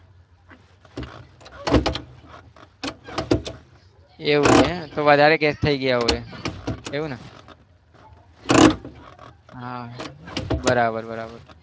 એવું છે તો વધારે case થઇ ગયા હોય એવું ને હા બરાબર બરાબર